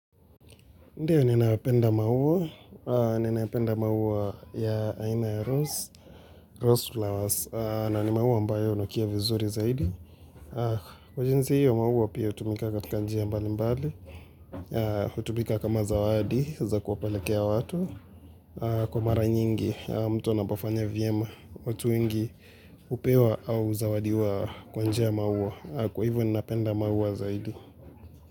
Ndiyo ninapenda maua, ninapenda maua ya aina ya Rose, Rose flowers, na ni maua ambayo hunukia vizuri zaidi. Kwa jinsi hiyo, maua pia hutumika katika njia mbalimbali, hutumika kama zawadi za kuwapelekea watu. Kwa mara nyingi, mtu anapofanya vyema, watu wengi hupewa au huzawadiwa kwa njia ya maua, kwa hivyo ninapenda maua zaidi.